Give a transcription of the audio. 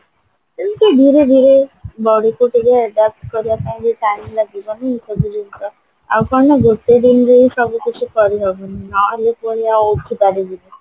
ଏମତି ଧୀରେ ଧୀରେ ବଢୁଛି ଟିକେ କରିବା ପାଇଁ ଟିକେ time ଲାଗିବନି ସବୁ ଜିନିଷ ଆଉ କଣ ନାଁ ଗୋଟେ ଦିନରେ ସବୁ କିଛି କରିହବନି ନହେଲେ ପୁଣି ଆଉ ଉଠିପାରିବିନି